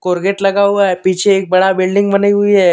Gate लगा हुआ है पीछे एक बड़ा बिल्डिंग बनी हुयी है।